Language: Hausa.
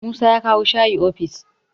Musa ya kawo shayi ofis